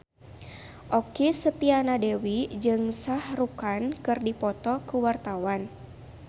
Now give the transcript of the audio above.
Okky Setiana Dewi jeung Shah Rukh Khan keur dipoto ku wartawan